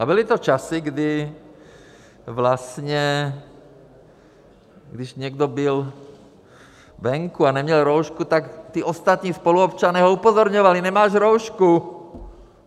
A byly to časy, kdy vlastně, když někdo byl venku a neměl roušku, tak ti ostatní spoluobčané ho upozorňovali: Nemáš roušku!